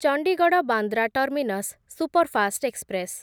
Chandigarh Bandra terminus superfast express